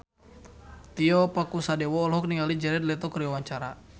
Tio Pakusadewo olohok ningali Jared Leto keur diwawancara